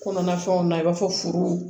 Kɔnɔna fɛnw na i b'a fɔ furu